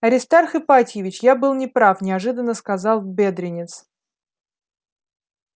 аристарх ипатьевич я был не прав неожиданно сказал бедренец